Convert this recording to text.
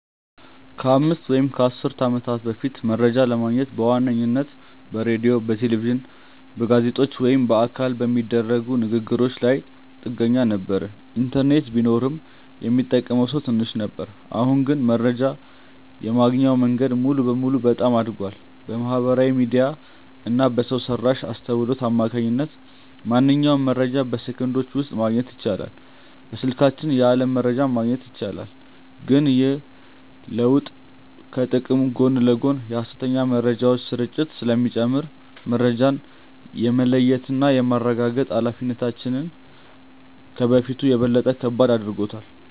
ከአምስት ወይም ከአሥር ዓመታት በፊት መረጃ ለማግኘት በዋነኝነት በሬዲዮ፣ በቴሌቪዥን፣ በጋዜጦች ወይም በአካል በሚደረጉ ንግ ግሮች ላይ ጥገኛ ነበርን። ኢንተርኔት ቢኖርም ሚጠቀመው ሰው ትንሽ ነበር። አሁን ግን መረጃ የማግኛው መንገድ ሙሉ በሙሉ በጣም አድጓል። በማህበራዊ ሚዲያ እና በሰው ሰራሽ አስውሎት አማካኝነት ማንኛውንም መረጃ በሰከንዶች ውስጥ ማግኘት ይቻላል። በስልካችን የዓለም መረጃን ማግኘት ይቻላል። ግን ይህ ለውጥ ከጥቅሙ ጎን ለጎን የሐሰተኛ መረጃዎች ስርጭትን ስለሚጨምር፣ መረጃን የመለየትና የማረጋገጥ ኃላፊነታችንን ከበፊቱ በበለጠ ከባድ አድርጎታል።